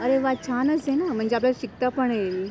अरे वा छानच हे नं म्हणजे आपल्याला शिकता पण येईल.